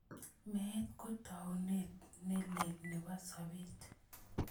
Meet ko taunetab ne lel nebo sobeet.